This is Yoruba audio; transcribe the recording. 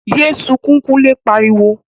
Yé sunkún! Kunle pariwo